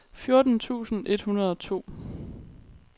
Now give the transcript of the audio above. fjorten tusind et hundrede og to